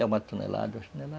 É uma tonelada,